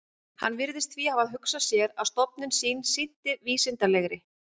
Hann virðist því hafa hugsað sér, að stofnun sín sinnti vísindalegri